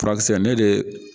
Furakisɛ ne de